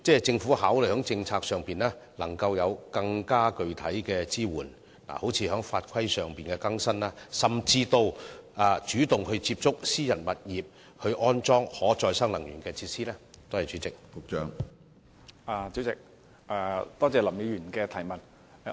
政府會否考慮在政策上提供更具體的支援，例如更新法規，甚至主動接觸私人物業業主，看看他們是否願意安裝可再生能源設施？